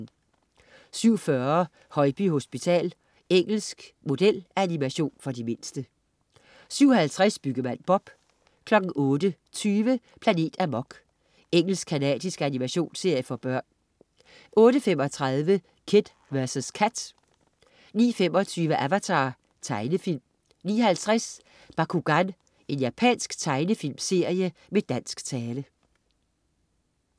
07.40 Højby Hospital. Engelsk modelanimation for de mindste 07.50 Byggemand Bob 08.20 Planet Amok. Engelsk-canadisk animationsserie for børn 08.35 Kid vs Kat 09.25 Avatar. Tegnefilm 09.50 Bakugan. Japansk tegnefilmserie med dansk tale